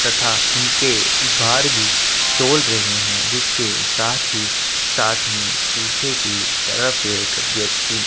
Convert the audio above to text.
तथा उनके बाहर भी तोड़ रहे है जिसके साथ ही साथ में पीछे की तरफ एक व्यक्ति--